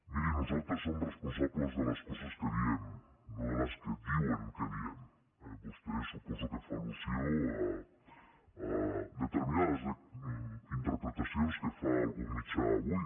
miri nosaltres som responsables de les coses que diem no de les que diuen que diem eh vostè suposo que fa al·lusió a determinades interpretacions que fa algun mitjà avui